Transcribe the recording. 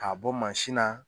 K'a bɔ mansin na.